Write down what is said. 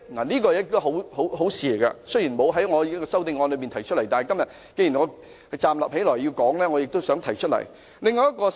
這是一件好事，雖然我未有在修正案中提出，但既然我已站起來發言，我也想提出這項建議。